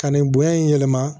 Ka nin bonya in yɛlɛma